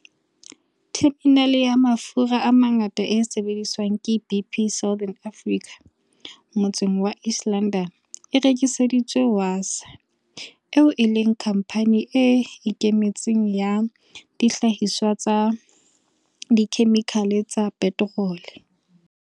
Theminale ya mafura a mangata e sebediswang ke BP Southern Africa motseng wa East London e rekiseditswe Wasaa, eo e leng khampani e ikemetseng ya dihlahiswa tsa dikhemikhale tsa peterole.